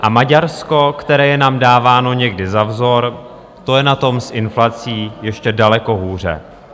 A Maďarsko, které je nám dáváno někdy za vzor, to je na tom s inflací ještě daleko hůře.